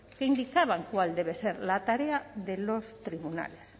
que indicaban cuál debe ser la tarea de los tribunales